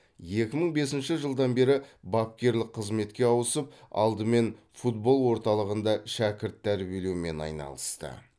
екі мың бесінші жылдан бері бапкерлік қызметке ауысып алдымен футбол орталығында шәкірт тәрбиелеумен айналысты